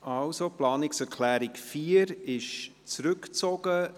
Die Planungserklärung 4 ist zurückgezogen.